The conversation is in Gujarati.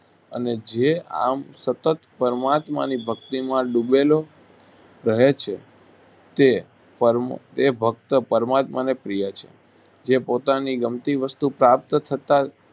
અને જે આમ સતત પરમાત્માની ભક્તિમાં ડૂબેલો રહે છે તે પરમ તે ભક્ત પરમાત્માને પ્રિય છે જે પોતાની ગમતી વસ્તુ પ્રાપ્ત થતાં